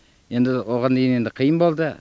енді оған дейін енді қиын болды